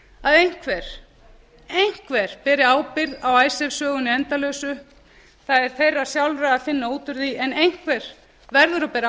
að einhver einhver beri ábyrgð á icesave sögunni endalausu það er þeirra sjálfra að finna út úr því en einhver verður að bera